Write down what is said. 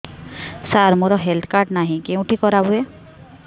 ସାର ମୋର health card ନାହିଁ କେଉଁଠି କରା ହୁଏ